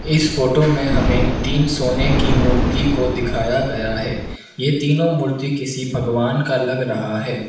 इस फोटो में हमें तीन सोने की मूर्ति को दिखाया गया है ये तीनों मूर्ति किसी भगवान का लग रहा है।